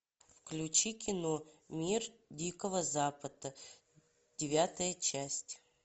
включи кино мир дикого запада девятая часть